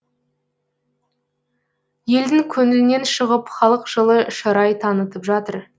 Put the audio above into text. елдің көңілінен шығып халық жылы шырай танытып жатыр